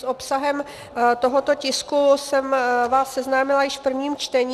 S obsahem tohoto tisku jsem vás seznámila již v prvním čtení.